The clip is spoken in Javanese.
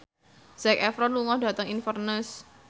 Zac Efron lunga dhateng Inverness